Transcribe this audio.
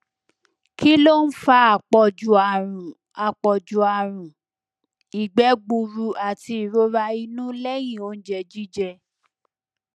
kí ló ń fa àpọju àrùn àpọju àrùn ìgbẹ gburú àti ìrora inú lẹyìn oúnjẹ jíjẹ